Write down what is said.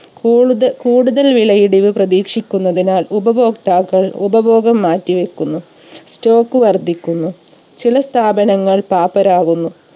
കൂടുത കൂടുതൽ വിലയിടിവ് പ്രതീക്ഷിക്കുന്നതിനാൽ ഉപഭോക്താക്കൾ ഉപഭോഗം മാറ്റിവെക്കുന്നു stock വർധിക്കുന്നു. ചില സ്ഥാപനങ്ങൾ പാപ്പരാകുന്നു